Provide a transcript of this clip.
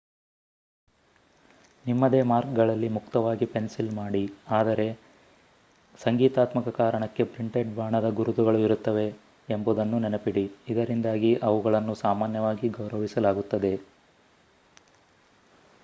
ನಿಮ್ಮದೇ ಮಾರ್ಕ್‌ಗಳಲ್ಲಿ ಮುಕ್ತವಾಗಿ ಪೆನ್ಸಿಲ್‌ ಮಾಡಿ ಅದರೆ ಸಂಗೀತಾತ್ಮಕ ಕಾರಣಕ್ಕೆ ಪ್ರಿಂಟೆಡ್‌ ಬಾಣದ ಗುರುತುಗಳು ಇರುತ್ತವೆ ಎಂಬುದನ್ನು ನೆನಪಿಡಿ ಇದರಿಂದಾಗಿ ಅವುಗಳನ್ನು ಸಾಮಾನ್ಯವಾಗಿ ಗೌರವಿಸಲಾಗುತ್ತದೆ